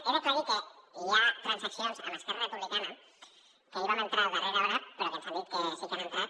he d’aclarir que hi ha transaccions amb esquerra republicana que ahir vam entrar a darrera hora però que ens han dit que sí que han entrat